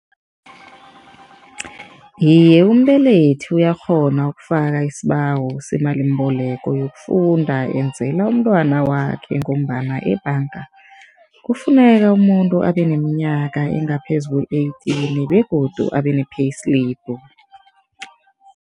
Iye, umbelethi uyakghona ukufaka isibawo semalimbeleko yokufunda enzela umntwana wakhe ngombana ebhanga kufuneka umuntu abe neminyaka engaphezu kwe-eighteen begodu abe ne-payslip.